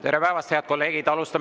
Tere päevast, head kolleegid!